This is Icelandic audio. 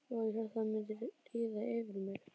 Vá, ég hélt það myndi líða yfir mig.